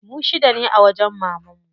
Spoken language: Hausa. Mu shida ne a wajen mamanmu.